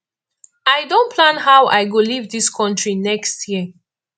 i don plan how i go leave dis country next year